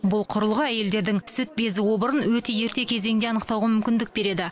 бұл құрылғы әйелдердің сүт безі обырын өте ерте кезеңде анықтауға мүмкіндік береді